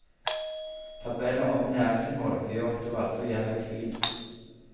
Tabeller om næringsinnhold gjør at du aldri er i tvil.